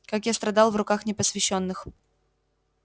как я страдал в руках непосвящённых